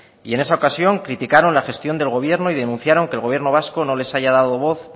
y en esa ocasión criticaron la gestión del gobierno y denunciaron que el gobierno vasco no les haya dado voz